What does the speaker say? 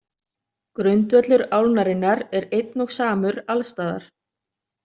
Grundvöllur álnarinnar er einn og samur alls staðar.